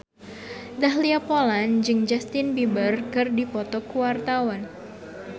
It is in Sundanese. Dahlia Poland jeung Justin Beiber keur dipoto ku wartawan